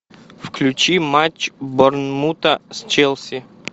включи матч борнмута с челси